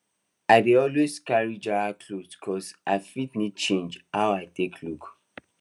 i dey always carry jara clothes cos i fit need change how i take look